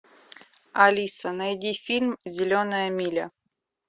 алиса найди фильм зеленая миля